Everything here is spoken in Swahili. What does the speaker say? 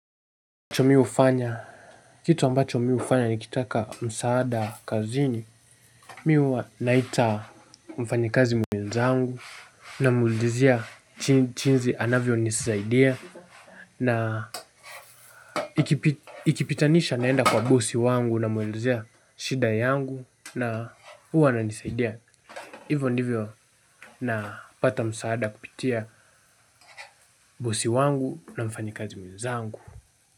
Cho mi ufanya, kitu ambacho mi ufanya nikitaka msaada kazini. Mi uwa naita mfanyekazi mwenzangu. Namuudizia chinzi anavyonisaidia. Na ikipitanisha naenda kwa bosi wangu namwelezea shida yangu. Na huwa ananisaidia ivo ndivyo napata msaada kupitia bosi wangu na mfanyekazi mwenzangu.